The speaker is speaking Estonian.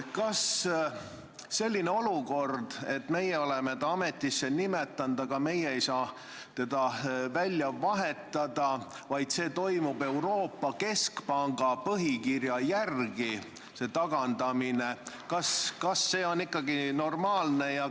Kas selline olukord, et meie oleme ta ametisse nimetanud, aga meie ei saa teda välja vahetada, vaid see tagandamine toimub Euroopa Keskpanga põhikirja järgi – kas see on ikkagi normaalne?